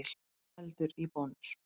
Eldur í Bónus